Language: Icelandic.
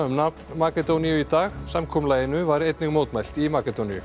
um nafn Makedóníu í dag samkomulaginu var einnig mótmælt í Makedóníu